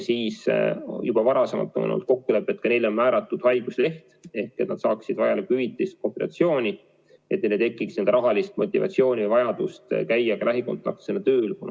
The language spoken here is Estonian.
Ja juba varasemalt on olnud kokkulepe, et ka neile määratakse haigusleht, et nad saaksid vajalikku hüvitist, kompensatsiooni, et neil ei oleks rahalist motivatsiooni ja vajadust käia lähikontaktsena tööl.